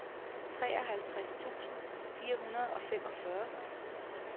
treoghalvtreds tusind fire hundrede og femogfyrre